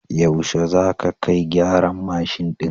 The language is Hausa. Yaushe za ka kai gyaran mashin ɗin?